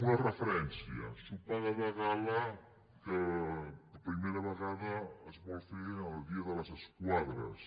una referència sopar de gala que per primera vegada es vol fer el dia de les esquadres